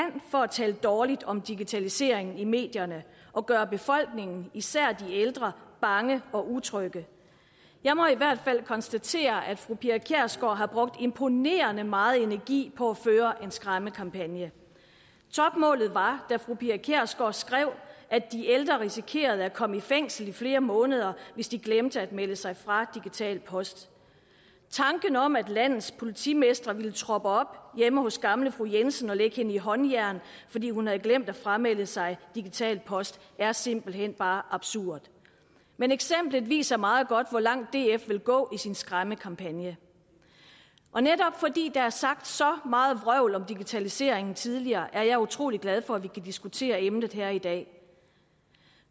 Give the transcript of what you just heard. for at tale dårligt om digitaliseringen i medierne og gøre befolkningen især de ældre bange og utrygge jeg må i hvert fald konstatere at fru pia kjærsgaard har brugt imponerende meget energi på at føre en skræmmekampagne topmålet var da fru pia kjærsgaard skrev at de ældre risikerede at komme i fængsel i flere måneder hvis de glemte at melde sig fra digital post tanken om at landets politimestre ville troppe op hjemme hos gamle fru jensen og lægge hende i håndjern fordi hun havde glemt at framelde sig digital post er simpelt hen bare absurd men eksemplet viser meget godt hvor langt df vil gå i sin skræmmekampagne og netop fordi der er sagt så meget vrøvl om digitaliseringen tidligere er jeg utrolig glad for at vi kan diskutere emnet her i dag